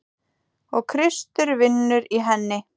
Og Kristur vinnur í henni.